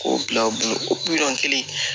K'o bila u bolo o miliyɔn kelen